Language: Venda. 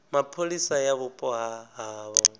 mapholisa ya vhupo ha havho